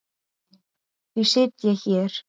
Því sit ég hér.